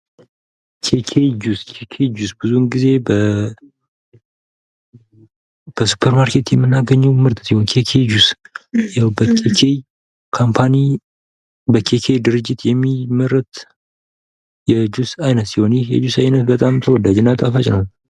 ኬጅ ጁስ ብዙውን ጊዜ በሱፐር ማርኬት የምናገኘው ምርት ኬጀ ጁስ ያው በ ኬጅ ድርጅት የሚመረት የጁስ አይነት ሲሆን ይህ የጁስ አይነት በጣም ተወዳጅ እና ጣፋጭ ነው።